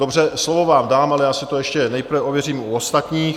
Dobře, slovo vám dám, ale já si to ještě nejprve ověřím u ostatních.